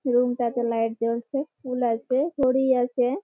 Room -টাতে light জ্বলছে ফুল আছে ঘড়ি আছে।